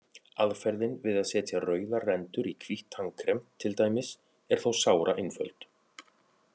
Aðferðin við að setja rauðar rendur í hvítt tannkrem, til dæmis, er þó sáraeinföld.